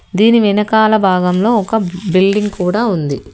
దీని వెనకాల భాగంలో ఒక బిల్డింగ్ కూడా ఉంది.